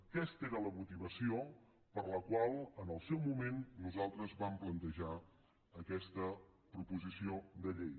aquesta era la motivació per la qual en el seu moment nosaltres vam plantejar aquesta proposició de llei